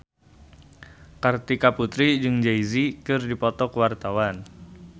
Kartika Putri jeung Jay Z keur dipoto ku wartawan